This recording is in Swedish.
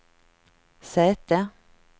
säte